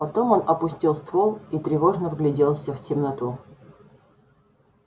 потом он опустил ствол и тревожно вгляделся в темноту